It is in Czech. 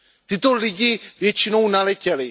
Tito lidé většinou naletěli.